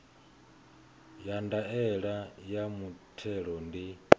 ya ndaela ya muthelo ndi